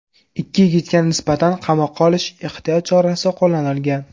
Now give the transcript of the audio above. Ikki yigitga nisbatan qamoqqa olish ehtiyot chorasi qo‘llanilgan.